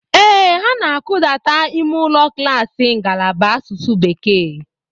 Ee, ha na-akụdata ime ụlọ klaasị ngalaba asụsụ bekee.